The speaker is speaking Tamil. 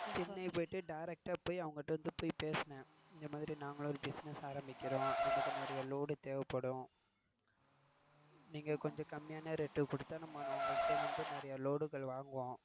சென்னை போய்ட்டு direct ஆஹ் போய் அவங்ககிட்ட போய் பேசினேன். இந்த மாதிரி நாங்களும் ஒரு business ஆரம்பிக்கிறோம். நமக்கு நிறய load தேவைப்படும். நீங்க கொஞ்சம் கம்மியான rate க்கு குடுத்தா நம்ம உங்ககிட்ட இருந்து நிறய load கள் வாங்குவோம்.